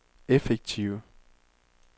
effektive